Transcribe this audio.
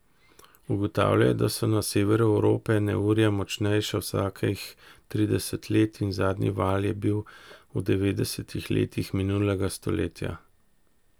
Ugotavljajo, da so na severu Evrope neurja močnejša vsakih trideset let in zadnji val je bil v devetdesetih letih minulega stoletja.